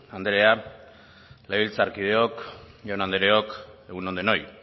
anderea legebiltzarkideok jaun andreok egun on denoi